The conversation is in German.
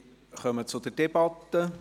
Wir kommen zur Debatte.